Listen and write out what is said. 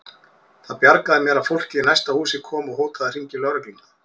Það bjargaði mér að fólkið í næsta húsi kom og hótaði að hringja í lögregluna.